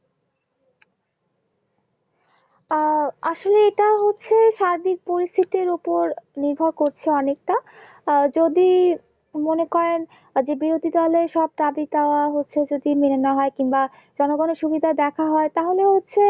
আহ আসলে এটা হচ্ছে স্বাভাবিক পরিস্থির উপর নির্ভর করছে অনেকটা আহ যদি মনে করেন বিরোধী দলের সব দাবি দোয়া হচ্ছে যদি মেল্ না হয় কিংবা যেন কোনো সুবিধা দেখা হয় তাহলে হচ্ছে